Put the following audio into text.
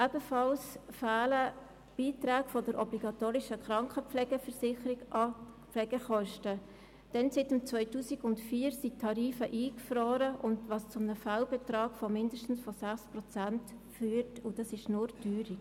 Ebenfalls fehlen Beiträge der obligatorischen Krankenpflegeversicherung an die Pflegekosten, denn seit 2004 sind die Tarife eingefroren, was zu einem Fehlbetrag von mindestens 6 Prozent führt, und dies allein durch die Teuerung.